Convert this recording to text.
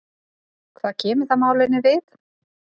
Hvað kemur það málinu við?